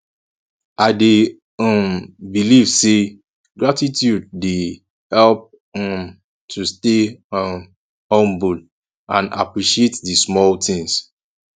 i dey um believe say gratitude dey help um us to stay um humble and appreciate di small things